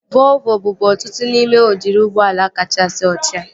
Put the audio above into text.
Volvo bụbu otu n'ime udiri ụgbọala kachasị ochie